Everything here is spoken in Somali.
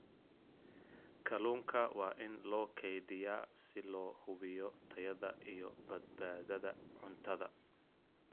Kalluunka waa in loo kaydiyaa si loo hubiyo tayada iyo badbaadada cuntada.